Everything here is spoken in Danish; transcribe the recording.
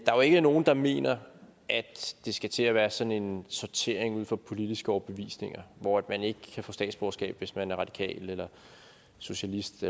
er jo ikke nogen der mener at det skal til at være sådan en sortering ud fra politiske overbevisninger hvor man ikke kan få statsborgerskab hvis man er radikal eller socialist